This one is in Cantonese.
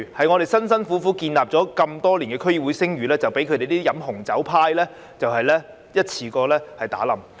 我們辛苦建立多年的區議會聲譽，一下子就被他們喝紅酒的行為毀掉。